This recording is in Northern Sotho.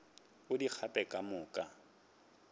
o di gape ka moka